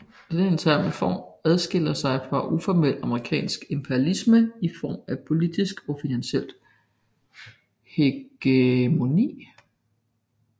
Denne interne form adskiller sig fra uformel amerikansk imperialisme i form af politisk og finansielt hegemoni